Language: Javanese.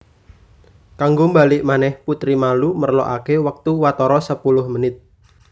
Kanggo mbalik manèh putri malu merlokaké wektu watara sepuluh menit